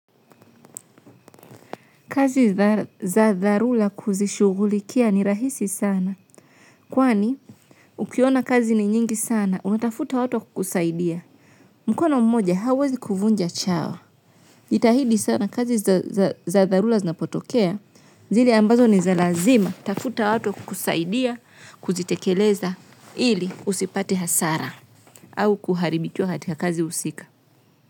Kazi za dharura kuzishughulikia ni rahisi sana. Kwani, ukiona kazi ni nyingi sana, unatafuta watu kukusaidia. Mkono mmoja hawezi kuvunja chawa. Jitahidi sana kazi za dharura zinapotokea. Zille ambazo ni za lazima. Tafuta watu kukusaidia, kuzitekeleza ili usipate hasara. Au kuharibikiwa katika kazi husika.